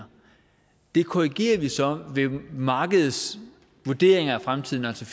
og det korrigerer vi så ved markedets vurderinger af fremtiden altså